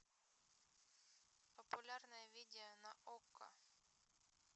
популярное видео на окко